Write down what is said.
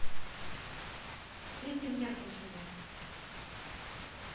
пете меркушеве